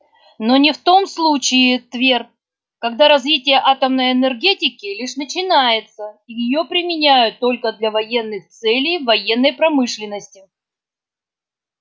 но не в том случае твер когда развитие атомной энергетики лишь начинается и её применяют только для военных целей в военной промышленности